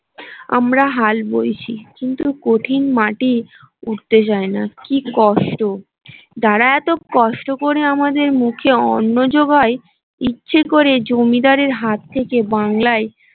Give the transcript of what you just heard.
আমরা হাল বইছি কিন্তু কঠিন মাটি উঠতে চায় না কি কষ্ট যারা এত কষ্ট করে আমাদের মুখে অন্ন জোগায় ইচ্ছে করে জমিদারের হাত থেকে বাংলায়